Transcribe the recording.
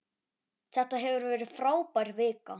Þetta hefur verið frábær vika.